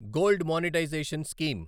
gold monetization scheme